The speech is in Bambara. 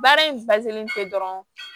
Baara in tɛ dɔrɔn